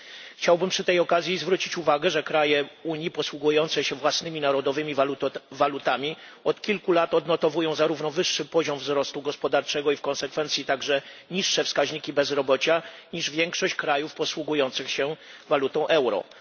Chciałbym przy tej okazji zwrócić uwagę, że kraje Unii posługujące się własnymi narodowymi walutami od kilku lat odnotowują zarówno wyższy poziom wzrostu gospodarczego, jak i w konsekwencji niższe wskaźniki bezrobocia niż większość krajów posługujących się walutą euro.